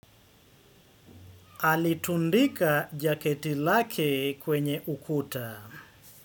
Alitundika jaketi lake kwenye ukuta.